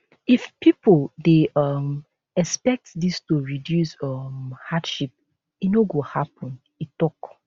if pipo dey um expect dis to reduce um hardship e no go happen e tok